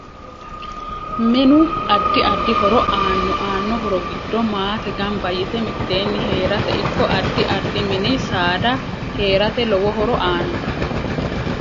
Minu addi addi horo aanno anno horo giddo maate ganba yite miteeni heerate ikko addi addi mini saada heerate lowo horo aanno